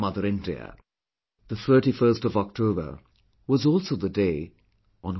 The 31st of October was also the day on which Smt